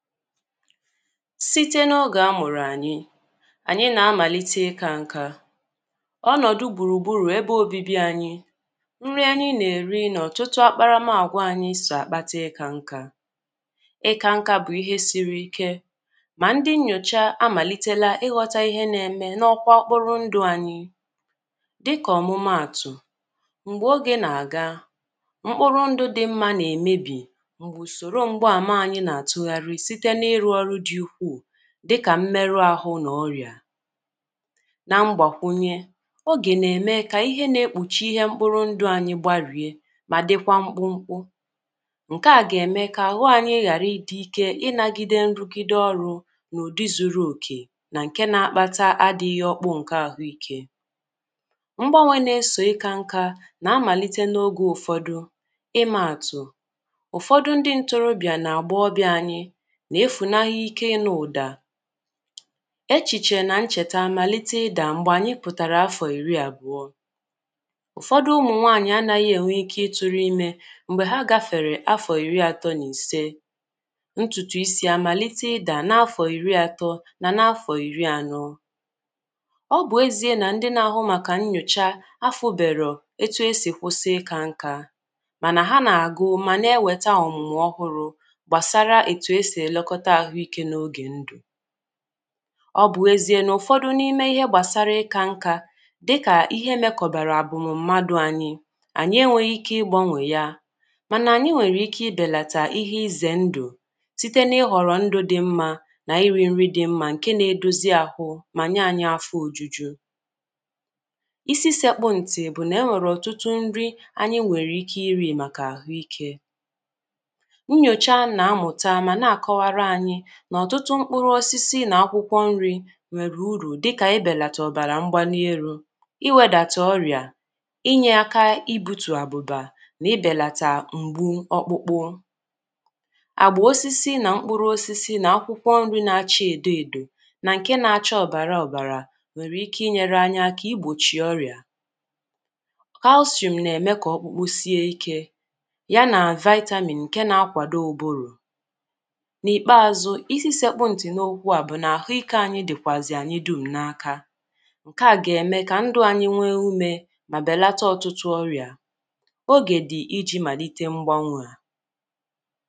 Síté nà ogè a mụ̀rụ̀ ànyị, ànyị nà amàlite ịkȧ nka, ọnọ̀dụ̀ gbùrùgburù, ebe òbibi ànyị, nri ànyị nà-èri nà ọ̀tụtụ akparamàgwa ànyị sò àkpata ịkȧ nka. Ịkȧ nka bụ̀ ihe siri ike mà ndị nnyòcha amàlitela ịghọta ihe nà-ème n’ ọkwa ọkpụrụ ndụ ànyị. Dịkà ọ̀mụmaàtụ̀, m̀gbè ogè nà-àga, mkpụrụ ndụ dị mmȧ nà-èmebì m̀gbè ùsòrò m̀gba àma ànyị nà àtụghàrị site n' ịrụ ọrụ dị ụkwụ dịkà mmerụ ahụ na ọrịà na mgbakwunye, ogè na-eme ka ihe na-ekpuchi ihe mkpụrụ ndụ anyị gbarie ma dịkwa mkpụmkpụ. Nke à ga-eme ka ahụ anyị ghàra ịdị ike ịnagide nrụgide ọrụ n’ụdị zuru oke na nke na-akpata adịghị ọkpụ nke ahụike. Mgbanwe na-eso ịkȧ nka na-amàlite n’ogè ụfọdụ ịmȧàtụ̀, ụfọdụ ndị ntorobịà na àgbaọbịȧ anyị na efu na ike ì nù ụda. Echìchè nà nchèta àmàlite ịdà m̀gbè ànyị pụ̀tàrà afọ̀ ìri àbụ̀ọ, ụ̀fọdụ ụmụ̀nwaànyị anȧghị ènwe ike ịtụrụ imė m̀gbè ha gafèrè afọ̀ ìri àtọ n’ ìse ntùtù isi àmàlite ịdà n’ afọ̀ ìri àtọ nà n’ afọ̀ ìri ànọ. Ọ bụ̀ ezie nà ndị nà-àhụ màkà nnyòcha afụ̀ bèrò etụ e si kwụsị ịkȧ nkȧ, mànà ha nà-àgụ mà nà-ewèta ọ̀mụ̀mụ̀ ọhụrụ gbàsara etu èsì elekọta ahụike n' oge ndụ̀. Ọ bụ ezie n’ụfọdụ n’ime ihe gbasara ịka nka dịka ihe mekọbara abụmụ mmadụ anyị, anyị enweghị ike ịgbanwe ya, mana anyị nwere ike ibelata ihe izè ndụ site n’ịhọrọ ndụ dị mma na iri nri dị mma nke na-edozi ahụ, ma nye anyị afọ ojuju. Ịsị sekpụ ntị bụ na e nwere ọtụtụ nri anyị nwere ike iri maka ahụike. nyòchaa na nmuta mana akowara anyi n' ọtụtụ mkpụrụ osisi, nà akwụkwọ nri nwèrè urù dịkà ibèlàtà ọ̀bàrà mgbani urù, iwėdàtà ọrị̀a, inyė aka ibutù àbụ̀bà, nà ibèlàtà mgbu ọkpụkpụ. Agba osisi nà mkpụrụ osisi nà akwụkwọ nri na-acha èdo èdò nà ǹke na-acha ọ̀bàrà ọ̀bàrà nwèrè ike inyėrė anyi aka igbòchì ọrị̀à. calcium nà-ème kà ọ̀kpụkpụ sie ikė ya nà vitamin ǹke na-akwàdo ụbụrụ̀. N' ikpeazụ isi sekpụ ntị n' okwu a bụ̀ nà àhụikė ànyị dị̀kwàzì ànyị dum̀ n’aka. Nkè a gà-ème kà ndụ̀ ànyị nwee umė, mà bèlata ọtụtụ ọrị̀a. Ogè dị̀ ijì màlite mgbanwè a.